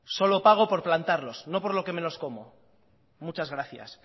solo pago por plantarlos no por que me los como muchas gracias